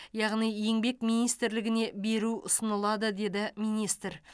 яғни еңбек министрлігіне беру ұсынылады деді министр